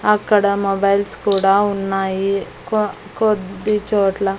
అక్కడ మొబైల్స్ కూడా ఉన్నాయి కొ కొద్దిచోట్ల--